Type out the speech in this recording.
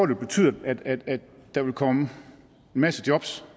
vil betyde at der vil komme en masse jobs